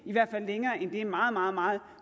i hvert fald længere end det meget meget meget